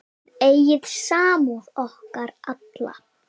Þið eigið samúð okkar alla.